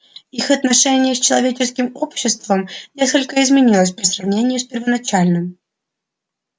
их отношения с человеческим обществом несколько изменилось по сравнению с первоначальным